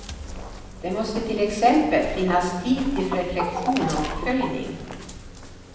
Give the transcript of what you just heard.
Det måste till exempel finnas tid till reflektion och uppföljning.